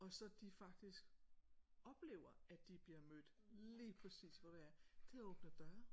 Og så de faktisk oplever at de bliver mødt lige præcis hvor de er det åbner døre